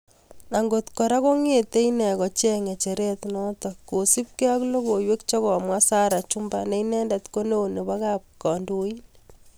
Angot kora kongete ine kocheng ngecheret notok..kosup ge ak logoiwek che komwa Sarah chumba ne inendet ko neoo nebo kap kandoin.